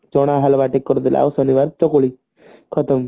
ଚଣା ହଲୱା ଟିକେ କରିଦେଲେ ଆଉ ଶନିବାର ଚକୁଳି ଖତମ